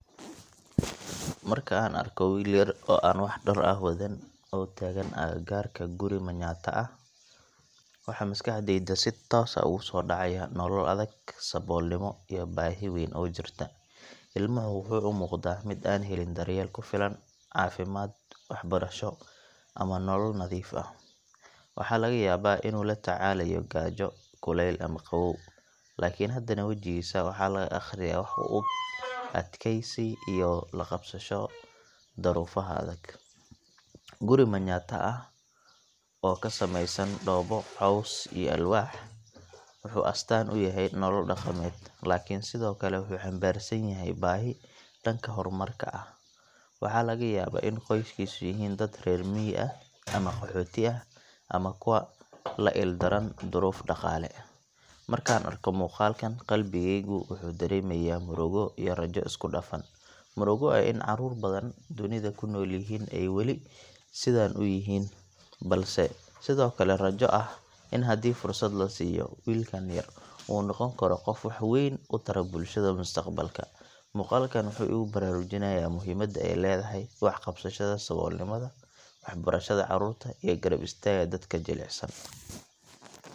Marka aan arko wiil yar oo aan wax dhar ah wadan, oo taagan agagaarka guri Manyatta ah, waxa maskaxdayda si toos ah ugu soo dhacaya nolol adag, saboolnimo, iyo baahi weyn oo jirta. Ilmuhu wuxuu u muuqdaa mid aan helin daryeel ku filan, caafimaad, waxbarasho, ama nolol nadiif ah. Waxaa laga yaabaa inuu la tacaalayo gaajo, kuleyl, ama qabow laakiin haddana wejigiisa waxaa laga akhriyaa wax u eg adkaysi iyo la qabsasho duruufaha adag. Guri Manyatta ah oo ka samaysan dhoobo, caws, iyo alwaax, wuxuu astaan u yahay nolol dhaqameed, laakiin sidoo kale wuxuu xambaarsan yahay baahi dhanka horumarka ah. Waxaa laga yaabaa in qoyskiisu yihiin dad reer miyi ah, ama qaxooti ah, ama kuwo la ildaran duruuf dhaqaale. Markaan arko muuqaalkan, qalbigayga wuxuu dareemayaa murugo iyo rajo isku dhafan. Murugo ah in caruur badan dunida ku nool ay weli sidan u yihiin, balse sidoo kale rajo ah in haddii fursad la siiyo, wiilkan yar uu noqon karo qof wax weyn u tara bulshada mustaqbalka. Muuqaalkan wuxuu igu baraarujinayaa muhiimada ay leedahay wax ka qabashada saboolnimada, waxbarashada caruurta, iyo garab istaagga dadka jilicsan.